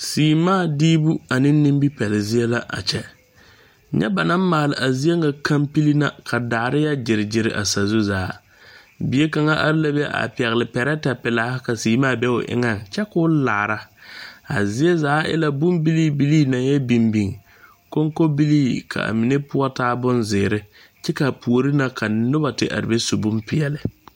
Seemaa diibu ane nimipɛle zie la a kyɛ nyɛ ba naŋ maale a zie ŋa kampil ka daare yɔ gyere a zu zaa bie kaŋa are la be a pɛgle pɛrɛtɛpelaa ka seemaa be o eŋa kyɛ Ka o laara a ziezaa e la bone bilii bilii naŋ yɔ biŋ biŋ konkobilii ka mine poɔ taa bonzeere kyɛ ka puori na ka noba te are be su bompeɛle.